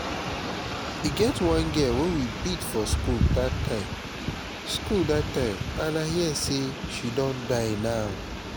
e get one girl wey we beat for school dat time school dat time and i hear say she don die now